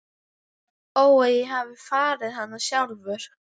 Ó að ég hefði farið hana sjálfur.